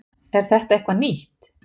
Er þetta eitthvað nýtt?